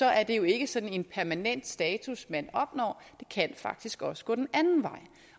er det jo ikke sådan en permanent status man opnår det kan faktisk også gå den anden vej